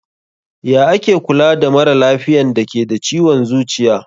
Ya ake Kula da maralafiyan dake da ciwon zuciya?